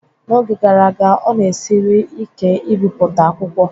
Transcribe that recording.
N'oge gara aga, ọ na-esiri ike ibipụta akwụkwọ